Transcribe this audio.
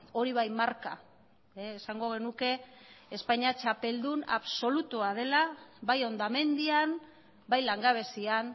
hori bai marka esango genuke espainia txapeldun absolutua dela bai hondamendian bai langabezian